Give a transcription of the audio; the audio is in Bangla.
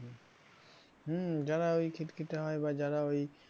হম যারা ওই খিটখিটে হয় বা যারা ওই